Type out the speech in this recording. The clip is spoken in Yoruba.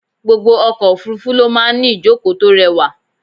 Gbogbo ọkọ̀ òfúrúfú ló máa ń ní ìjókòó tó rẹwà.